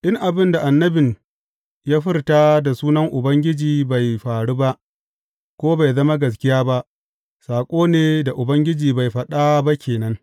In abin da annabin ya furta da sunan Ubangiji bai faru ba, ko bai zama gaskiya ba, saƙo ne da Ubangiji bai faɗa ba ke nan.